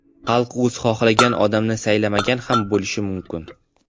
Xalq o‘zi xohlagan odamni saylamagan ham bo‘lishi mumkin.